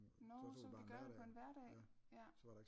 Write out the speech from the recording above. Nårh så kunne vi gøre det på en hverdag jaer